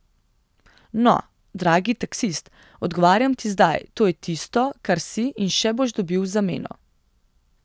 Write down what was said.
No, dragi taksist, odgovarjam ti zdaj, to je tisto, kar si in še boš dobil v zameno.